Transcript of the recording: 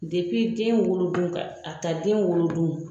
den wolo don ka a ta den wolo don